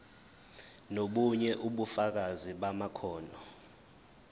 nobunye ubufakazi bamakhono